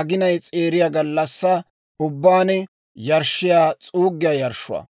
aginay s'eeriya gallassaa ubbaan yarshshiyaa s'uuggiyaa yarshshuwaa.